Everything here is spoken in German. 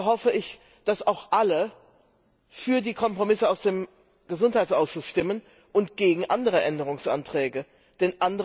Also hoffe ich, dass auch alle für die Kompromisse aus dem Gesundheitsausschuss und gegen andere Änderungsanträge stimmen.